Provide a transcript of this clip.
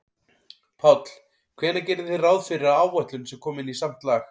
Páll: Hvenær gerið þið ráð fyrir að áætlun sé komin í samt lag?